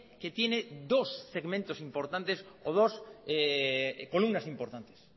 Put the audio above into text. que tiene dos segmentos importantes o dos columnas importantes